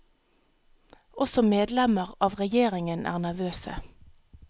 Også medlemmer av regjeringen er nervøse.